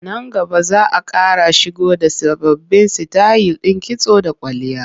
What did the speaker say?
Nan gaba za a ƙara shigo da sababbin sitayil ɗin kitso da kwalliya.